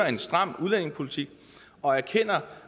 en stram udlændingepolitik og erkender